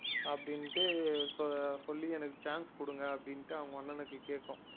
அப்படின்னுட்டு சொ~ சொல்லி எனக்கு chance குடுங்க அப்படின்ட்டு அவங்க அண்ணனுக்கு கேக்கும்